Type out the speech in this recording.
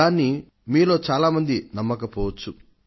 దాన్ని మీలో చాలా మంది నమ్మకపోవచ్చు